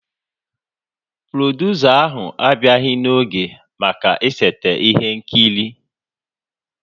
Produsa ahụ abịaghị n'oge maka ịseta ihe nkiri